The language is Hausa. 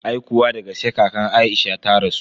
Aikuwa dagaske kakan Aisha ta rasu.